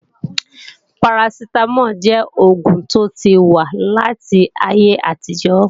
Parasitamol jẹ́ oògùn tó ti wà láti ayé àtijó